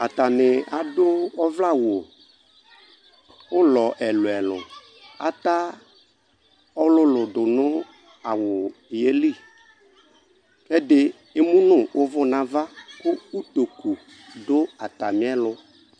Atanɩ adʋ ɔvlɛawʋ ʋlɔ ɛlʋɛlʋ ata ɔlʋlʋ dʋnʋ awʋ yɛlɩ kʋ ɛdɩ emunu ʋvʋ nʋ ava kʋ ɔtokʋ dʋ atamɩ ɛlʋ